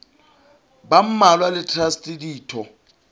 ba mmalwa le traste ditho